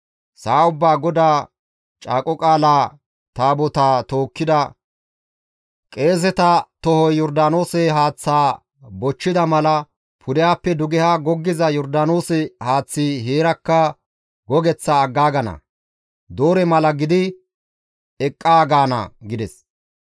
Sa7a ubbaa GODAA Caaqo Qaala Taabotaa tookkida qeeseta tohoy Yordaanoose haaththaa bochchida mala pudehappe duge goggiza Yordaanoose haaththi heerakka gogeththaa aggaagana; doore mala gidi eqqaa gaana» gides.